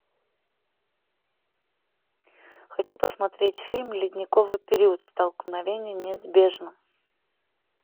хочу посмотреть фильм ледниковый период столкновение неизбежно